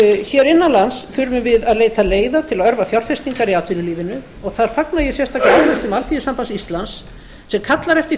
hér innan lands þurfum við að álita leiða til að örva fjárfestingar í atvinnulífinu og þar fagna ég sérstaklega ályktun alþýðusambands íslands sem kallar eftir